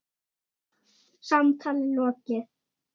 Samtali lokið.